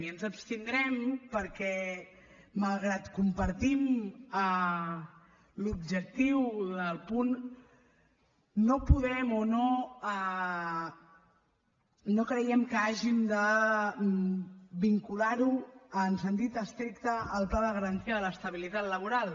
i ens abstindrem perquè malgrat que compartim l’objectiu del punt no podem o no creiem que hàgim de vincular ho en sentit estricte al pla de garantia de l’estabilitat laboral